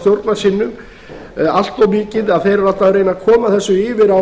stjórnarsinnum allt of mikið að þeir eru alltaf að reyna að koma þessu yfir á